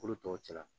Kolo tɔw cɛ la